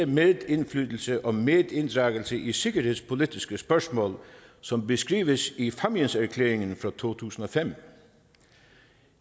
medindflydelse og medinddragelse i de sikkerhedspolitiske spørgsmål som beskrives i fámjinerklæringen fra to tusind og fem